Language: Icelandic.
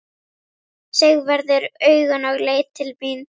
Sigvarður augun og leit til mín.